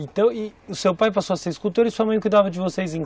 Então, e o seu pai passou a ser escultor e sua mãe cuidava de vocês em